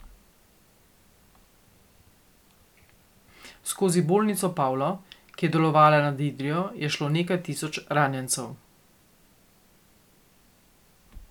Skozi bolnico Pavlo, ki je delovala nad Idrijo, je šlo nekaj tisoč ranjencev.